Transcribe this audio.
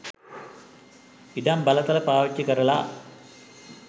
ඉඩම් බලතල පාවිච්චි කරලා